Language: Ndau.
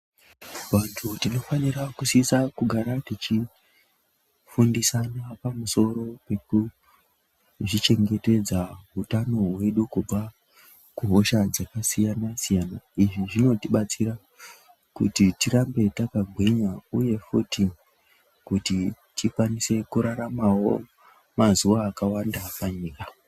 Vantu tinofanira kusisa kugara tichi fundisana pamusoro pekuzvi chengetedza utano wedu kubva kuhosha dzakasiyana siyana izvi zvinotibatsira kuti tirambe takagwinya uye futhi kuti tikwanise kuraramawo mazuva akawanda panyika.